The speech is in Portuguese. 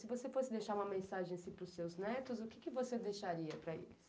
Se você fosse deixar uma mensagem para os seus netos, o que você deixaria para eles?